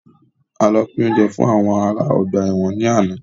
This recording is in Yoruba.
A lọ pin oúnjẹ fún àwọn ará ọgbà ẹ̀wọ̀n ni àná.